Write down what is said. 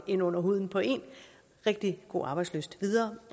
ind under huden på en rigtig god arbejdslyst videre